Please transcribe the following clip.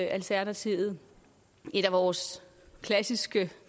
alternativet et af vores klassiske